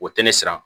O tɛ ne siran